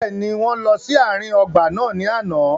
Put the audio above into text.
Bẹ́ẹ̀ni, wọn lọ si aarin ọgba naa ni ana.